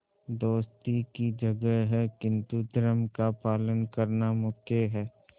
दोस्ती की जगह है किंतु धर्म का पालन करना मुख्य है